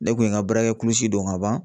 Ne kun ye n ka baarakɛ kulusi don ka ban